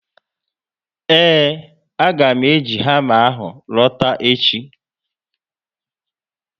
Eee, a ga mụ eji hama ahụ lota echi